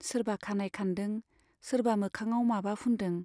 सोरबा खानाइ खानदों , सोरबा मोखाङाव माबा फुनदों।